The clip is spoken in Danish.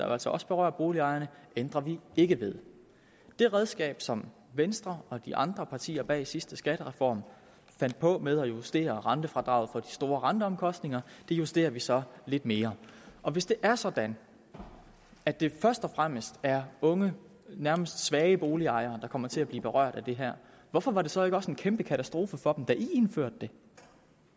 jo altså også berører boligejerne ændrer vi ikke ved det redskab som venstre og de andre partier bag den sidste skattereform fandt på med at justere rentefradraget for de store renteomkostninger justerer vi så lidt mere hvis det er sådan at det først og fremmest er unge nærmest svage boligejere der kommer til at blive berørt af det her hvorfor var det så ikke også en kæmpe katastrofe for dem da venstre det